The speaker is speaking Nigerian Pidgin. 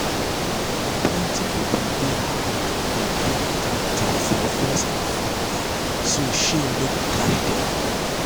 plenty people dey hide dir credit card debt from friends and family so shame no go catch dm